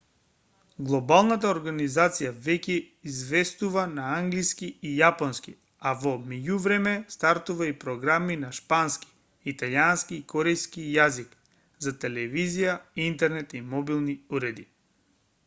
глобалната организација веќе известува на англиски и јапонски а во меѓувреме стартува и програми на шпански италијански и корејски јазик за телевизија интернет и мобилни уреди